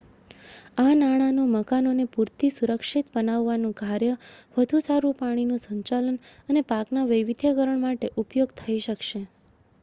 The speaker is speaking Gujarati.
આ નાણાંનો મકાનોને પૂરથી સુરક્ષિત બનાવવાનું કાર્ય વધુ સારું પાણીનું સંચાલન અને પાકના વૈવિધ્યીકરણ માટે ઉપયોગ થઇ શકશે